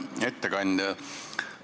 Hea ettekandja!